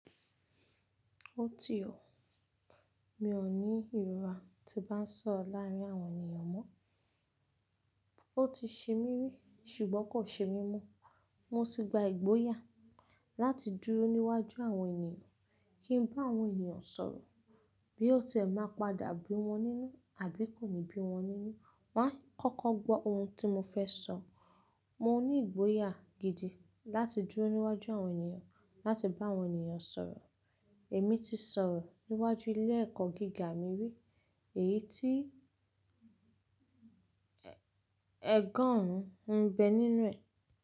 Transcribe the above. Ó ti ọ̀, mi ò ní ìrora tí bá ń sọ̀ro láàárín àwọn ènìyàn mó. Ó ti ṣe mí rí ṣùgbọ́n kò ṣe mí mo. Mo ti gba ìgboyà láti dúró níwájú àwọn ènìyàn, kí ń bá àwọn ènìyàn sọ̀rọ̀ bí ó tiẹ̀ má padà bí wọ́n nínú àbí kò ní bí wọ́n nínú. Wọ́n á kọ́kọ́ gbọ́ ohun tí mo fẹ́ sọ. Mo ní ìgboyà gidi láti dúró níwájú àwọn ènìyàn láti bá àwọn ènìyàn sọ̀rọ̀. Èmi ti sọ̀rọ̀ níwájú ilé ẹ̀kọ́ gíga mi rí èyí tí ogorùn ń bẹ nínú rẹ̀